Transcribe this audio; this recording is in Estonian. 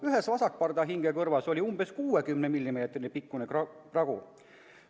Ühes vasakpardahinge kõrvas oli umbes 60 mm pikkune pragu.